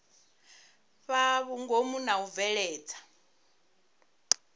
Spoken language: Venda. fhaa vhungomu na u bveledza